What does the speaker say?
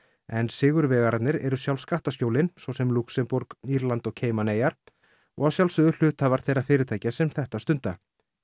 en sigurvegararnir eru sjálf skattaskjólin svo sem Lúxemborg Írland og Cayman eyjar og að sjálfsögðu hluthafar þeirra fyrirtækja sem þetta stunda